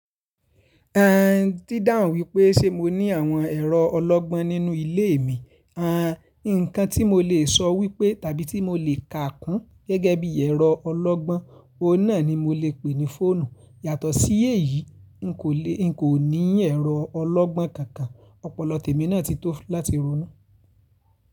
A n dídáhun wípé ṣe mo ní àwọn ẹ̀rọ ọlọ́gbọ́n nínú ilé mi. À n ǹkan tí mo lè sọ wípé tàbí tí mo lè kà kún gẹ́gẹ́ bí ẹ̀rọ ọlọ́gbọ́n, òun náà ni mo lè pè ní fóònù. Yàtọ̀ sí èyí, n kò ní ẹ̀rọ ọlọ́gbọ́n kankan. Ọpọlọ tèmi náà ti tó láti ronú.